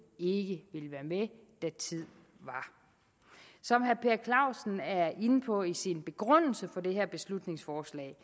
ikke ville være med da tid var som herre per clausen er inde på i sin begrundelse for det her beslutningsforslag